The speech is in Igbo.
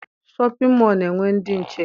Shọpịn mọọ na-enwe ndị nche.